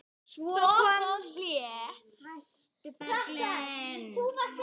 Svo kom hlé.